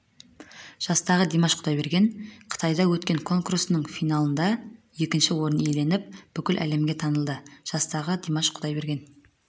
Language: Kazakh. жастағы димаш құдайбереген қытайда өткен конкурсының финалында екінші орын иеленіп бүкіл әлемге танылды жастағы димаш құдайбереген